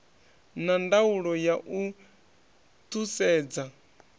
na ndaulo ya u thusedza